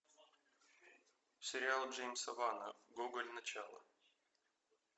сериал джеймса вана гоголь начало